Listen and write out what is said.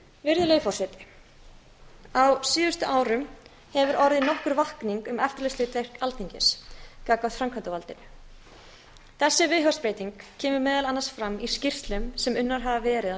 virðulegi forseti á síðustu árum hefur orðið nokkur vakning um eftirlitshlutverk alþingis gagnvart framkvæmdarvaldinu þessi viðhorfsbreyting kemur meðal annars fram í skýrslum sem unnar hafa verið á